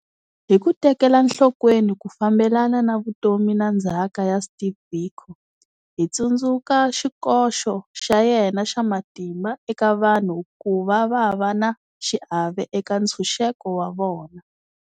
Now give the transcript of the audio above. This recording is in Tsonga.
Hi ku tekela nhlokweni ku fambelana ka vutomi na ndzhaka ya Steve Biko, hi tsundzuka xikoxo xa yena xa matimba eka vanhu ku va va va na xiave eka ntshunxeko wa vona.